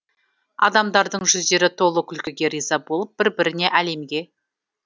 адамдардың жүздері толы күлкіге риза болып бір біріне әлемге